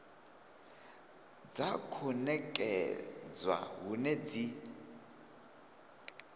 dza khou nekedzwa hone dzi